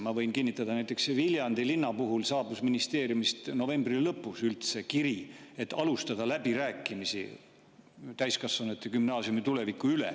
Ma võin kinnitada, et näiteks Viljandi linna saabus ministeeriumist novembri lõpus kiri, et alustatakse läbirääkimisi täiskasvanute gümnaasiumi tuleviku üle.